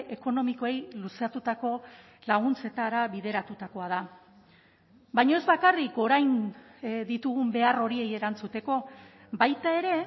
ekonomikoei luzatutako laguntzetara bideratutakoa da baina ez bakarrik orain ditugun behar horiei erantzuteko baita ere